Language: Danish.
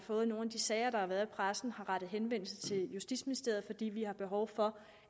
fået nogle af de sager der har været i pressen har rettet henvendelse til justitsministeriet fordi vi har behov for